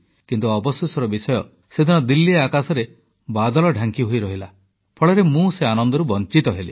କିନ୍ତୁ ଅବସୋସର ବିଷୟ ସେଦିନ ଦିଲ୍ଲୀ ଆକାଶରେ ବାଦଲ ଢାଙ୍କି ହୋଇରହିଲା ଫଳରେ ମୁଁ ସେ ଆନନ୍ଦରୁ ବଂଚିତ ହେଲି